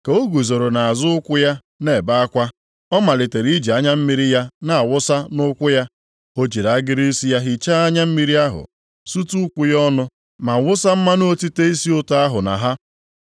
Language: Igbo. Ka o guzoro nʼazụ ụkwụ ya na-ebe akwa, ọ malitere iji anya mmiri ya na-awụsa nʼụkwụ ya. O jiri agịrị isi ya hichaa anya mmiri ahụ, sutu ụkwụ ya ọnụ, ma wụsa mmanụ otite isi ụtọ ahụ na ha.